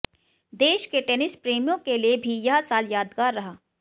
देश के टेनिस प्रेमियों के लिए भी यह साल यादगार रहा